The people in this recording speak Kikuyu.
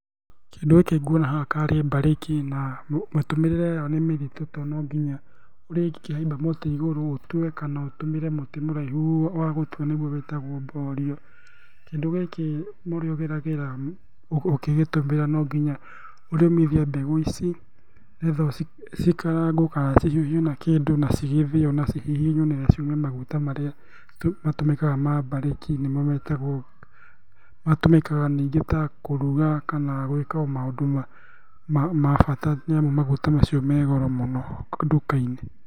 Kĩndũ gĩkĩ nguona haha tarĩ mbarĩki, na matũmĩrĩre yayo nĩ mĩritũ to nonginya ũrĩgĩkĩhaimba mũtĩ igũru ũtue, kana ũtũmĩre mũtĩ mũraihu wa gũtua nĩguo wĩtagwo borio. Kĩndũ gĩkĩ marĩa ũgeragĩra ũkĩgĩtũmĩra no nginya ũrĩũmithia mbegũ ici, nĩgetha cikarangwo kana cihiũhio na kĩndũ na cigĩthĩo na cihihinywo nĩgetha ciume maguta marĩa matũmĩkaga ma mbarĩki, nĩmo metagwo, matũmĩkaga ningĩ ta kũruga kana gũĩka o maũndũ ma ma bata. Nĩamu maguta macio megoro mũno nduka-inĩ.